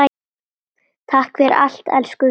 Takk fyrir allt, elsku vinur.